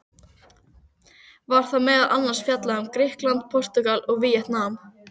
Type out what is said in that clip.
Var þar meðal annars fjallað um Grikkland, Portúgal og Víetnam.